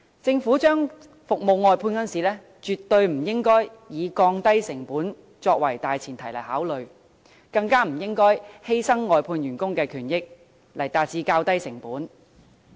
政府把服務外判時，絕不應該以降低成本作為大前提來考慮，更不應該以犧牲外判員工的權益來減低成本。